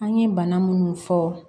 An ye bana munnu fɔ